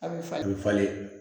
A bɛ falen a bɛ falen